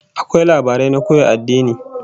Akwai labarai na koya addini